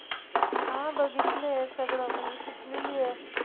हा बघितलंय सगळं म्हणजे शिकलेली आहे